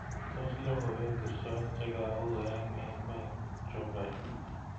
Tos logoywek ngircho chegau eng emetab chumbek